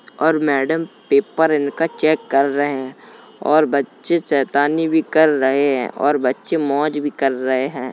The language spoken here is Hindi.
और मैडम पेपर इनका चेक कर रहे हैं और बच्चे शैतानी भी कर रहे हैं और बच्चे मौज भी कर रहे हैं।